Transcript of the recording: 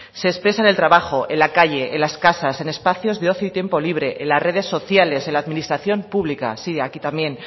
se expresa en el trabajo en la calle en las casas en espacios de ocio y tiempo libre en las redes sociales en la administración pública sí aquí también